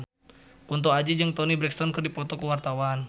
Kunto Aji jeung Toni Brexton keur dipoto ku wartawan